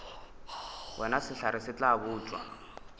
wena sehlare se tla botšwa